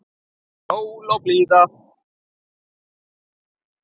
Sól og blíða.